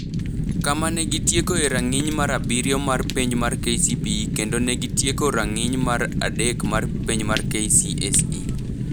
kama ne gitiekoe rang’iny mar abiriyo mar penj mar KCPE kendo ne gitieko rang’iny mar adek mar penj mar KCSE.